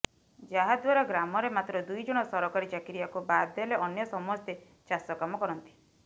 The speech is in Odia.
ଯାହାଦ୍ୱାରା ଗ୍ରାମରେ ମାତ୍ର ଦୁଇ ଜଣ ସରକାରୀ ଚାକିରିଆକୁ ବାଦ ଦେଲେ ଅନ୍ୟ ସମସ୍ତେ ଚାଷ କାମ କରନ୍ତି